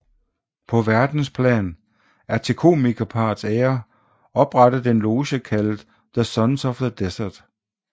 På verdensplan er til komikerparrets ære oprettet en loge kaldet The Sons of the Desert